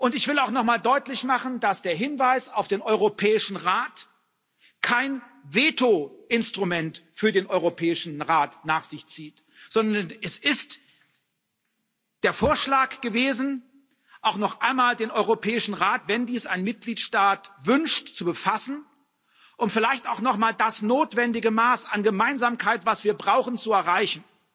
Ich will auch noch mal deutlich machen, dass der Hinweis auf den Europäischen Rat kein Veto Instrument für den Europäischen Rat nach sich zieht, sondern es ist der Vorschlag gewesen, auch noch einmal den Europäischen Rat wenn dies ein Mitgliedstaat wünscht zu befassen, um vielleicht auch noch einmal das notwendige Maß an Gemeinsamkeit, das wir brauchen, zu erreichen.